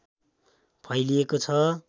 फैलिएको छ